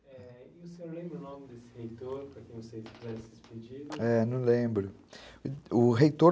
É... e o senhor lembra o nome desse reitor, para quem não sei se faz esses pedidos? É, não lembro. O reitor